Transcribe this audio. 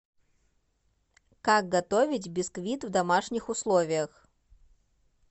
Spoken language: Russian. как готовить бисквит в домашних условиях